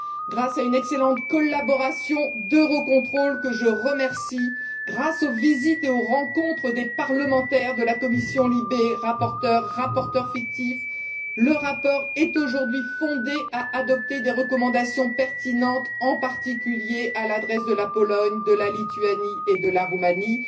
Grâce à une excellente collaboration d'Eurocontrol, que je remercie, grâce aux visites et aux rencontres des parlementaires de la commission LIBE le rapport est aujourd'hui fondé à adopter des recommandations pertinentes, en particulier à l'adresse de la Pologne, de la Lituanie et de la Roumanie.